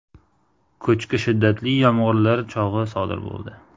Ko‘chki shiddatli yomg‘irlar chog‘i sodir bo‘ldi.